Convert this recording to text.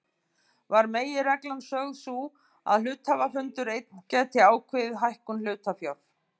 var meginreglan sögð sú að hluthafafundur einn gæti ákveðið hækkun hlutafjár.